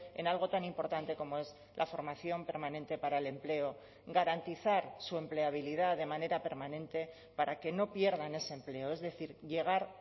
en algo tan importante como es la formación permanente para el empleo garantizar su empleabilidad de manera permanente para que no pierdan ese empleo es decir llegar